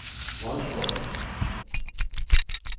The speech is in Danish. Vodskov